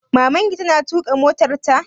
Maman ki ta na tuƙa motarta?